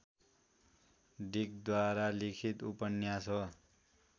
डिकद्वारा लिखित उपन्यास हो